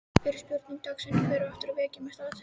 Fyrri spurning dagsins: Hver á eftir að vekja mesta athygli?